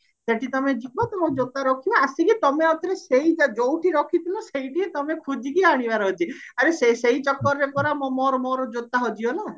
ସେଠି ତମେ ଯିବ ତମ ଜୋତା ରଖିବା ଆସିକି ତମେ ଆଉ ଥରେ ସେଇଠି ଯଉଠି ରଖିଥିଲା ସେଇଠି ତମେ ଖୋଜିକି ଆଣିବାର ଅଛି ଆରେ ଆରେ ସେଇ ଚକରରେ ପର ମୋର ମୋର ଜୋତା ହଜିଗଲା